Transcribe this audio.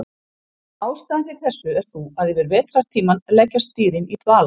Ástæðan fyrir þessu er sú að yfir vetrartímann leggjast dýrin í dvala.